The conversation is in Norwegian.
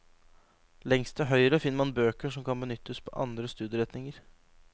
Lengst til høyre finner man bøker som kan benyttes på andre studieretninger.